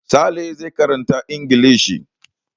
Sale zai karanta Ingilishi.